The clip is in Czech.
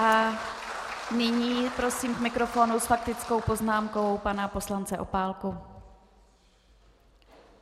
A nyní prosím k mikrofonu s faktickou poznámkou pana poslance Opálku.